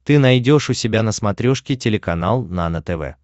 ты найдешь у себя на смотрешке телеканал нано тв